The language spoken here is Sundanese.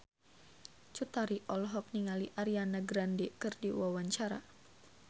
Cut Tari olohok ningali Ariana Grande keur diwawancara